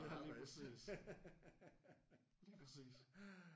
Ja lige præcis lige præcis